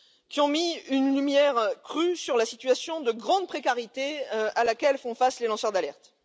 Ils ont mis une lumière crue sur la situation de grande précarité à laquelle font face les lanceurs d'alerte.